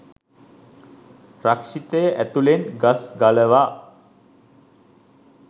රක්ෂිතය ඇතුළෙන් ගස් ගලවා